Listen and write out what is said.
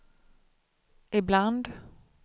ibland